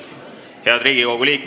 Edu meile kõigile!